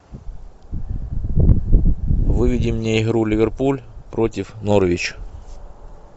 выведи мне игру ливерпуль против норвич